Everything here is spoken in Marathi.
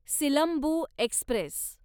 सिलंबू एक्स्प्रेस